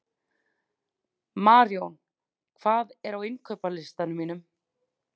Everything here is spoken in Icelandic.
Marjón, hvað er á innkaupalistanum mínum?